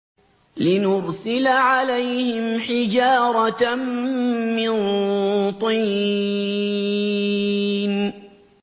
لِنُرْسِلَ عَلَيْهِمْ حِجَارَةً مِّن طِينٍ